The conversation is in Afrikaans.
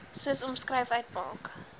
soos omskryf uitmaak